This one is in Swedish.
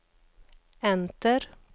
enter